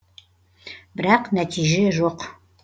бірақ нәтиже жоқ